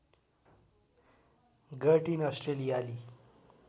गर्टिन अस्ट्रेलियाली